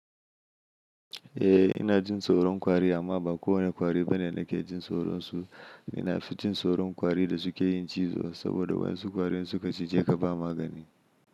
Eh ina jin tsoron kwari amma ba kowane kwari bane da ke jin tsoron su. Ina fi jin tsoron kwari da suke yin cizo saboda wasu kwari su ka cije ka ba magani.